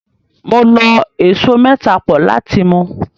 Mo lọ ẹso mẹ́ta pọ̀ láti mu.